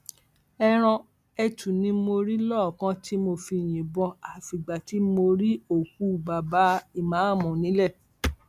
ẹran ẹtù ni mo rí lọọọkán tí mo fi yìnbọn àfìgbà tí mo rí òkú baba ìmáàmù nílẹ